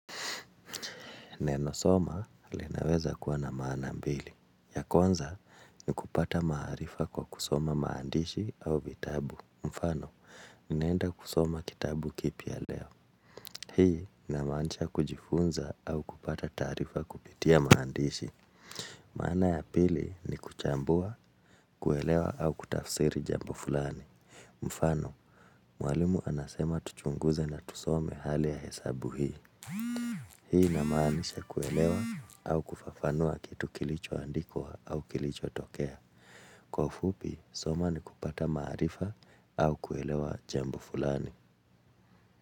Neno soma linaweza kuwa na maana mbili. Ya kwanza ni kupata maarifa kwa kusoma maandishi au vitabu. Mfano, ninaenda kusoma kitabu kipya leo. Hii inamaanisha kujifunza au kupata taarifa kupitia maandishi. Maana ya pili ni kuchambua, kuelewa au kutafsiri jambo fulani. Mfano, mwalimu anasema tuchunguze na tusome hali ya hesabu hii. Hii inamaanisha kuelewa au kufafanua kitu kilicho andikwa au kilicho tokea. Kwa ufupi, kusoma ni kupata maarifa au kuelewa jambo fulani.